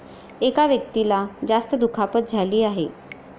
एका व्यक्तीला जास्त दुखापत झाली आहे.